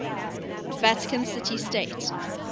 vatican city state